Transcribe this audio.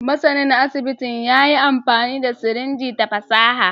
Masanin asibitin ya yi amfani da sirinji da fasaha